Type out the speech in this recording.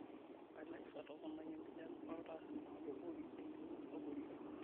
Alexa toponai epinjan oltaa amu kegol elio abori